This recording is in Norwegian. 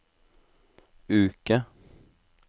uke